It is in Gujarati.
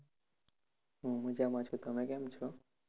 હું મજા માં છુ તમે કેમ છો?